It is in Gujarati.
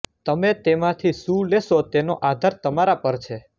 તમે તેમાંથી શું લેશો તેનો આધાર તમારા પર છે